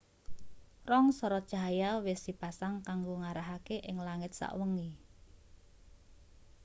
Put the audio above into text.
rong sorot cahya wis dipasang kanggo ngarahake ing langit sawengi